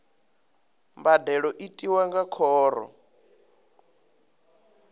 mbadelo i tiwa nga khoro